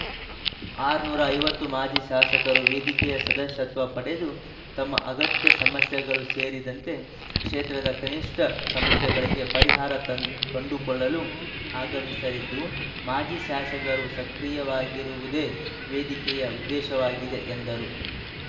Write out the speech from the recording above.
ಆರುನೂರ ಐವತ್ತು ಮಾಜಿ ಶಾಸಕರು ವೇದಿಕೆಯ ಸದಸ್ಯತ್ವ ಪಡೆದು ತಮ್ಮ ಅಗತ್ಯ ಸಮಸ್ಯೆಗಳು ಸೇರಿದಂತೆ ಕ್ಷೇತ್ರದ ಕನಿಷ್ಠ ಸಮಸ್ಯೆಗಳಿಗೆ ಪರಿಹಾರ ತಂ ಕಂಡುಕೊಳ್ಳಲು ಆಗಮಿಸಲಿದ್ದು ಮಾಜಿ ಶಾಸಕರು ಸಕ್ರಿಯವಾಗಿರವುದೇ ವೇದಿಕೆಯ ಉದ್ದೇಶವಾಗಿದೆ ಎಂದರು